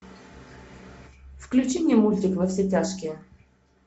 включи мне мультик во все тяжкие